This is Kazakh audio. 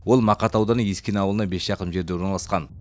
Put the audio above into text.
ол мақат ауданы ескене ауылына бес шақырым жерде орналасқан